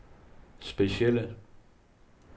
specielle